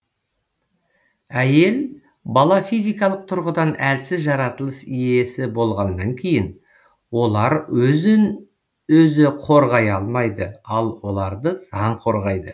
әйел бала физикалық тұрғыдан әлсіз жаратылыс иесі болғаннан кейін олар өзін өзі қорғай алмайды ал оларды заң қорғайды